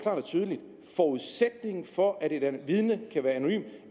og tydeligt at forudsætningen for at et vidne kan være anonymt